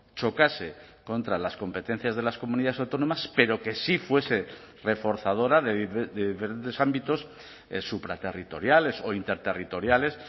chocase contra las competencias de las comunidades autónomas pero que sí fuese reforzadora de diferentes ámbitos supraterritoriales o interterritoriales